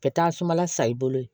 Bɛ taa sumala sa i bolo ye